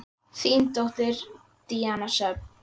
Þín dóttir, Díana Sjöfn.